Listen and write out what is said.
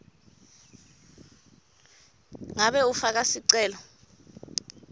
ngabe ufaka sicelo